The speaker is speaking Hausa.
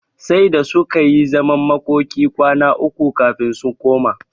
Sai da suka yi zaman makokin kwana uku kafin su koma.